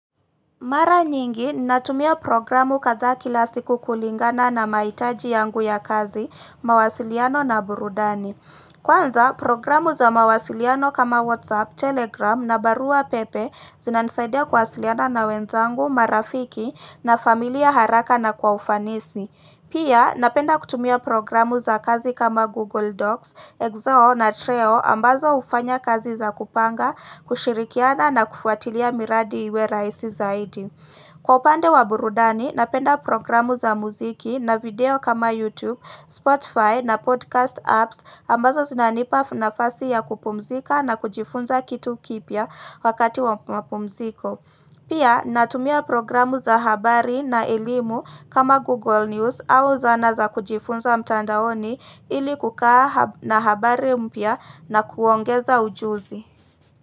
Mara nyingi, natumia programu kadha kila siku kulingana na mahitaji yangu ya kazi, mawasiliano na burudani. Kwanza, programu za mawasiliano kama WhatsApp, Telegram na barua pepe zina nisaidia kuwasiliana na wenzangu, marafiki na familia haraka na kwa ufanisi. Pia napenda kutumia programu za kazi kama Google Docs, Excel na Treo ambazo ufanya kazi za kupanga, kushirikiana na kufuatilia miradi iwe raisi zaidi. Kwa upande wa burudani napenda programu za muziki na video kama YouTube, Spotify na podcast apps ambazo zinanipa nafasi ya kupumzika na kujifunza kitu kipya wakati wa mpumziko. Pia natumia programu za habari na elimu kama Google News au zana za kujifunza mtandaoni ili kukaa na habari mpya na kuongeza ujuzi.